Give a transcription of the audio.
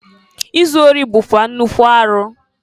Izu ori bụkwa nnukwu arụ.